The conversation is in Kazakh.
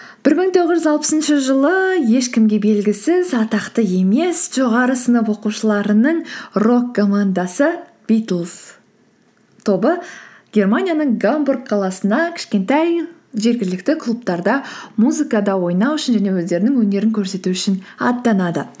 бір мың тоғыз жүз алпысыншы жылы ешкімге белгісіз атақты емес жоғары сынып оқушыларының рок командасы битлз тобы германияның гамбург қаласына кішкентай жергілікті клубтарда музыкада ойнау үшін және өздерінің өнерін көрсету үшін аттанады